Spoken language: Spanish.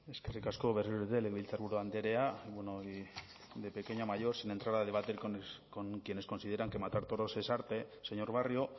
eskerrik asko berriro ere legebiltzarburu andrea bueno y de pequeña a mayor sin entrar a debatir con quienes consideran que matar toros es arte señor barrio